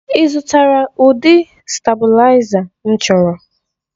Ị zụtara ụdị stabụlaiza m chọrọ?